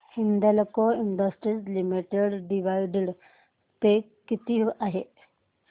Hindalco industries limited dividend pay किती आहे